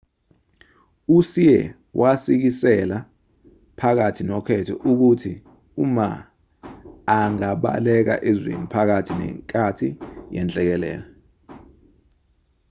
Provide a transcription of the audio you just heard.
uhsieh wasikisela phakathi nokhetho ukuthi uma angabaleka ezweni phakathi nenkathi yenhlekelele